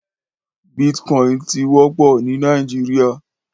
Bìtkòín ti wòpò ni Nàijiriá